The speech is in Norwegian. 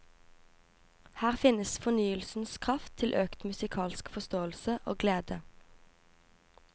Her finnes fornyelsens kraft til økt musikalsk forståelse og glede.